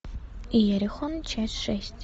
иерихон часть шесть